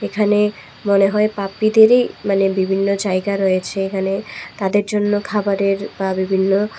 এখানে মনে হয় পাপ্পিদেরই মানে মানে বিভিন্ন জায়গা রয়েছে এখানে তাদের জন্য খাবারের বা বিভিন্ন--